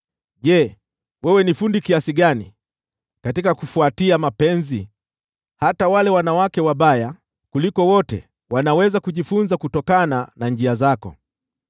Je, wewe una ustadi kiasi gani katika kufuatia mapenzi! Hata wale wanawake wabaya kuliko wote wanaweza kujifunza kutokana na njia zako.